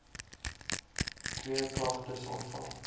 twee klagtes ontvang